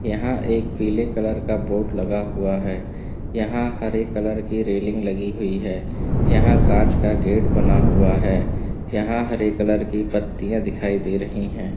यहां एक पीले कलर का बोर्ड लगा हुआ है। यहां हरे कलर की रेलिंग लगी हुई है। यहां कांच का गेट बना हुआ है। यहां हरे कलर की पतियां दिखाई दे रही हैं।